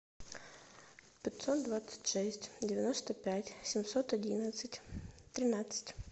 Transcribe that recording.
пятьсот двадцать шесть девяносто пять семьсот одиннадцать тринадцать